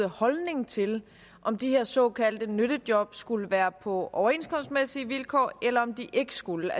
holdning til om de her såkaldte nyttejob skulle være på overenskomstmæssige vilkår eller om de ikke skulle